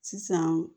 Sisan